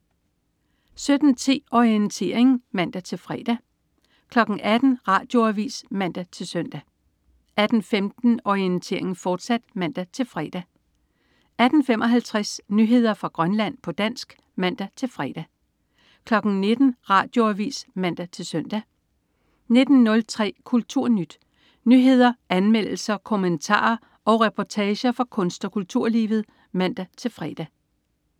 17.10 Orientering (man-fre) 18.00 Radioavis (man-søn) 18.15 Orientering, fortsat (man-fre) 18.55 Nyheder fra Grønland, på dansk (man-fre) 19.00 Radioavis (man-søn) 19.03 KulturNyt. Nyheder, anmeldelser, kommentarer og reportager fra kunst- og kulturlivet (man-fre)